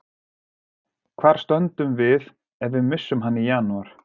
Hvar stöndum við ef við missum hann í janúar?